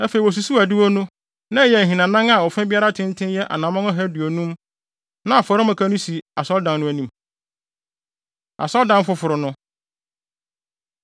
Afei wosusuw adiwo no. Na ɛyɛ ahinanan a ɔfa biara tenten yɛ anammɔn ɔha aduonum. Na afɔremuka no si asɔredan no anim. Asɔredan Foforo No